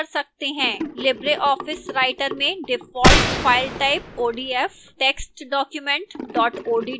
libreoffice writer में default file type odf text document odt है